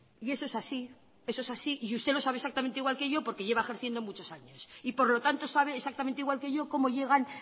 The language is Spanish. y eso es así eso es así y usted lo sabe exactamente igual que yo porque lleva ejerciendo muchos años y por lo tanto sabe exactamente igual que yo cómo llegan